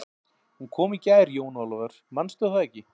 Hún kom í gær Jón Ólafur, mannstu það ekki?